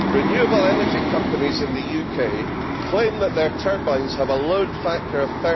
Renewable energy companies in the UK claim that their turbines have a load factor of